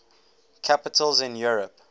capitals in europe